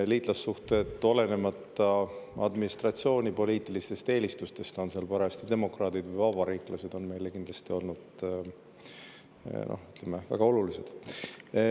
Liitlassuhted, olenemata administratsiooni poliitilistest eelistustest – on seal parajasti demokraadid või vabariiklased –, on meile kindlasti olnud väga olulised.